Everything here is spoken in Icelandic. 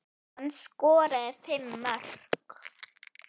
Hann skoraði fimm mörk.